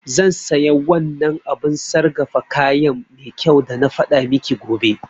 Zan saya wannan abun sargafa kayan mai kyau dana faɗa miki gobe